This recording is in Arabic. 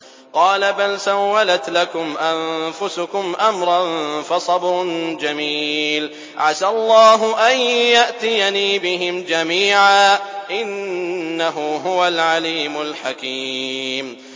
قَالَ بَلْ سَوَّلَتْ لَكُمْ أَنفُسُكُمْ أَمْرًا ۖ فَصَبْرٌ جَمِيلٌ ۖ عَسَى اللَّهُ أَن يَأْتِيَنِي بِهِمْ جَمِيعًا ۚ إِنَّهُ هُوَ الْعَلِيمُ الْحَكِيمُ